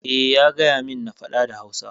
Eh, ya gayamin na faɗa da Hausa.